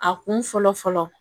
A kun fɔlɔ fɔlɔ